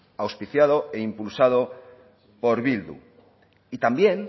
auspiciado e impulsado por bildu y también